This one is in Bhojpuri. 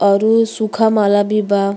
अउरु सूखा माला भी बा।